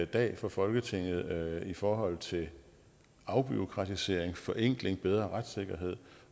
dag for folketinget i forhold til afbureaukratisering forenkling bedre retssikkerhed